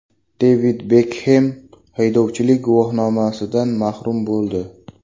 Devid Bekhem haydovchilik guvohnomasidan mahrum bo‘ldi.